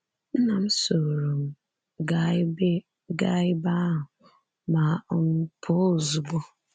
Nna m sooro m gaa ebe gaa ebe ahụ ma um pụọ ozugbo.